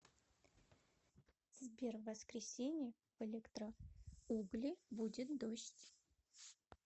сбер в воскресенье в электроугли будет дождь